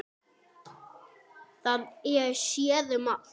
Það er séð um allt.